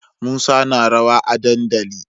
Musa na rawa a dandali